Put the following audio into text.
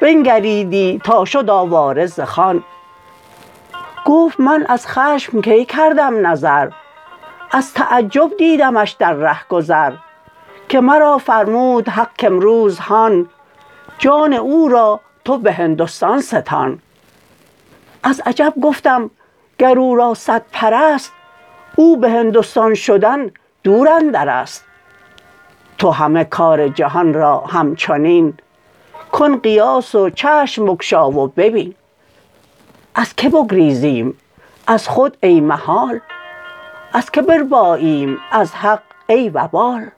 بنگریدی تا شد آواره ز خان گفت من از خشم کی کردم نظر از تعجب دیدمش در رهگذر که مرا فرمود حق کامروز هان جان او را تو به هندستان ستان از عجب گفتم گر او را صد پر ست او به هندستان شدن دور اندرست تو همه کار جهان را همچنین کن قیاس و چشم بگشا و ببین از که بگریزیم از خود ای محال از که برباییم از حق ای وبال